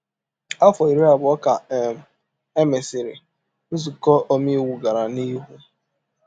Afọ iri abụọ ka um e mesịrị, nzuko omeiwu gara n’ihu.